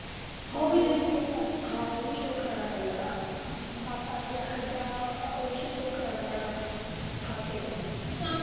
ਹਾਂ ਓਹ ਵੀ, ਹਾਂ ਓਹ ਵੀ show ਕਰਾਉਣਾ ਪੈਂਦਾ ਨਾ ਹਮ ਸੱਤ ਅੱਠ ਲੱਖ ਰੁਪਿਆ ਉਹਦੇ ਚ show ਕਰਾਉਣਾ ਪੈਨਾ ਖਾਤੇ ਚ